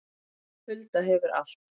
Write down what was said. Hulda hefur allt